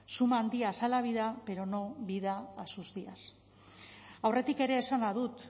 suman días a la vida pero no vida a sus días aurretik ere esana dut